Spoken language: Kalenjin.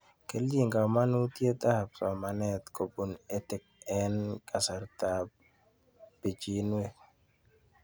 Kechig'il kamanutiet ab somanet kopun Ed Tech eng' kasarta ab pichinwek